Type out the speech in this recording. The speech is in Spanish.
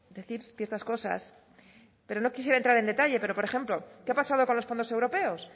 decir ciertas cosas pero no quisiera entrar en detalle pero por ejemplo qué ha pasado con los fondos europeos